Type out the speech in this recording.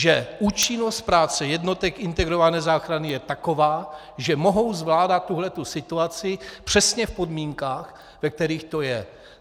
Že účinnost práce jednotek integrované záchrany je taková, že mohou zvládat tuto situaci přesně v podmínkách, ve kterých to je.